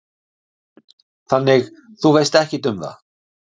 Karen: Þannig, þú veist ekkert um það?